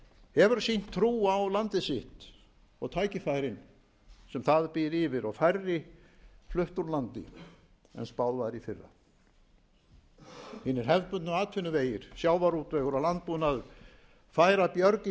hefur sýnt trú á landið sitt og tækifærin sem það býr yfir og færri flutt úr landi en spáð var í fyrra hinir hefðbundnu atvinnuvegir sjávarútvegur og landbúnaður færa björg í